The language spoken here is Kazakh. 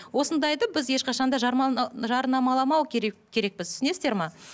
осындайды біз ешқашан да жарнамаламау керек керекпіз түсінесіңдер ме